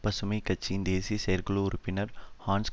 பசுமை கட்சியின் தேசிய செயற்குழு உறுப்பினர் ஹான்ஸ்